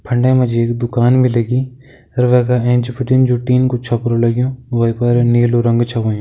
फंडे मा जी एक दुकान भी लगीं अर वैका एंच बिटिन जु टीन कू छपरु लग्युं वै पर नीलू रंग छ होयुं।